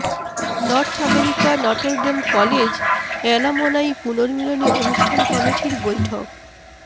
north America Notre Dame college alumni পুনর্মিলনী অনুষ্ঠান কমিটির বৈঠক